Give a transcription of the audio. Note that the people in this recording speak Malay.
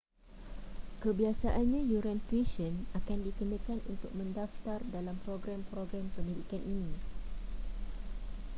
kebiasaannya yuran tuisyen akan dikenakan untuk mendaftar dalam program-program pendidikan ini